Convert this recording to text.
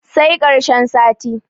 sai karshen sati